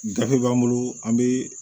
Gafe b'an bolo an be